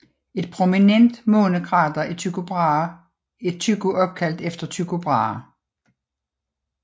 Et prominent månekrater er Tycho opkaldt efter Tycho Brahe